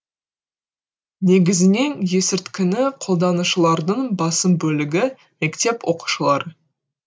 негізінен есірткіні қолданушылардың басым бөлігі мектеп оқушылары